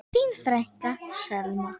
Þín frænka, Selma.